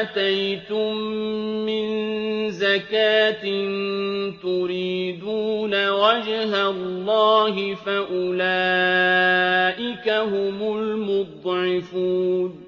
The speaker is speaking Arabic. آتَيْتُم مِّن زَكَاةٍ تُرِيدُونَ وَجْهَ اللَّهِ فَأُولَٰئِكَ هُمُ الْمُضْعِفُونَ